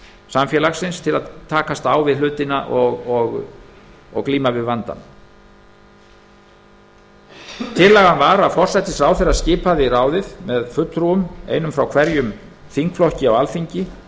samfélagsins til að takast á við hlutina og glíma við vandann tillaga var að forsætisráðherra skipaði ráðið með einum fulltrúa frá hverjum þingflokki á alþingi